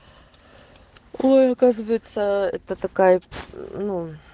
оказывается это такая ну